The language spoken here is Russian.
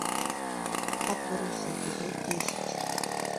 отбросы эпизод десять